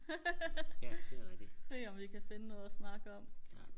se om vi kan finde noget og snakke om